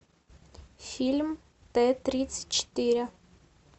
фильм т тридцать четыре